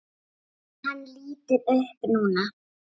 Hann lítur upp núna.